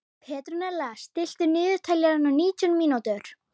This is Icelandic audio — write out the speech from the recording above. Petrónella, stilltu niðurteljara á nítján mínútur.